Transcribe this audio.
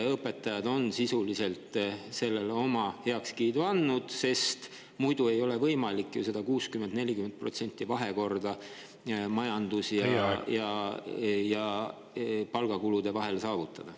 Õpetajad on sisuliselt sellele oma heakskiidu andnud, aga ei ole ju võimalik seda 60 : 40% vahekorda majandus‑ ja palgakulude vahel saavutada.